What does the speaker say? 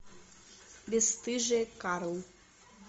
бесстыжие карл